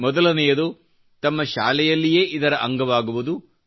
ಮೊದಲನೆಯದು ತಮ್ಮ ಶಾಲೆಯಲ್ಲಿಯೇ ಇದರ ಅಂಗವಾಗುವುದು